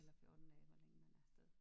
Eller 14 dage eller hvor længe man er afsted